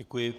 Děkuji.